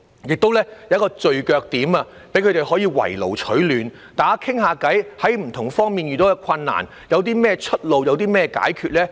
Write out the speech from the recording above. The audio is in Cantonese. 該等中心亦提供聚腳點，讓他們"圍爐取暖"，交流在不同方面遇到甚麼困難、有何出路、有甚麼解決方法。